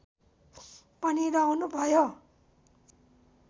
पनि रहनुभयो